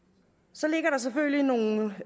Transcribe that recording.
så ligger der selvfølgelig nogle